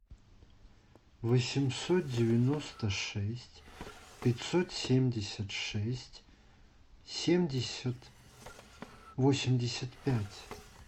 восемьсот девяносто шесть пятьсот семьдесят шесть семьдесят восемьдесят пять